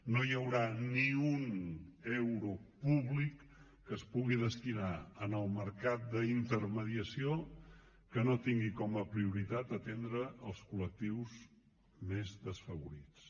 no hi haurà ni un euro públic que es pugui destinar al mercat d’intermediació que no tingui com a prioritat atendre els col·lectius més desfavorits